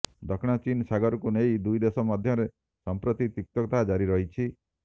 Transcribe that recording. ଦକ୍ଷିଣ ଚୀନ ସାଗରକୁ ନେଇ ଦୁଇ ଦେଶ ମଧ୍ୟରେ ସଂପ୍ରତ୍ତି ତିକ୍ତତା ଜାରି ରହିଛି